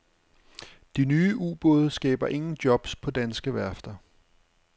De nye ubåde skaber ingen jobs på danske værfter.